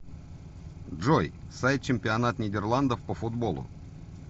джой сайт чемпионат нидерландов по футболу